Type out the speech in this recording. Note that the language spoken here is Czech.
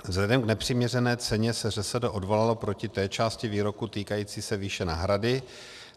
Vzhledem k nepřiměřené ceně se ŘSD odvolalo proti té části výroku týkající se výše náhrady.